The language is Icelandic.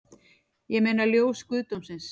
Ég meina ljós guðdómsins